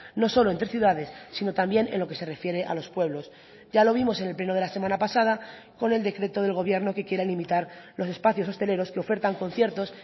no solo entre ciudades sino también en lo que se refiere a los pueblos ya lo vimos en el pleno de la semana pasada con el decreto del gobierno que quiere limitar los espacios hosteleros que ofertan conciertos